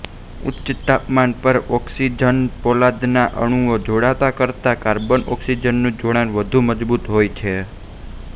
ઉચ્ચ તાપમાન પર ઓક્સિજનપોલાદના અણુના જોડાણ કરતા કાર્બનઑક્સિજનનું જોડાણ વધુ મજબૂત હોય છે